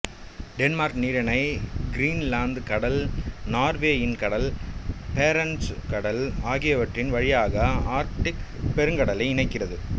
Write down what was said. Denmark நீரிணை Greenland கடல் நார்வேயின் கடல் பேரண்ட்சு கடல் ஆகியவற்ரின் வழியாக ஆர்க்டிக் பெருங்கடலை இணைக்கிறது